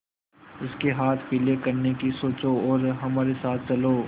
उसके हाथ पीले करने की सोचो और हमारे साथ चलो